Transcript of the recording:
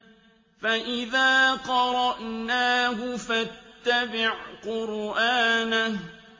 فَإِذَا قَرَأْنَاهُ فَاتَّبِعْ قُرْآنَهُ